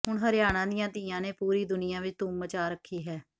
ਹੁਣ ਹਰਿਆਣਾ ਦੀਆਂ ਧੀਆਂ ਨੇ ਪੂਰੀ ਦੁਨੀਆ ਵਿਚ ਧੂਮ ਮਚਾ ਰੱਖੀ ਹੈ